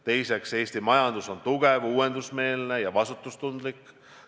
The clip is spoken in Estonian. Teiseks, Eesti majandus on tugev, uuendusmeelne ja vastutustundlik.